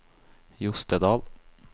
Jostedal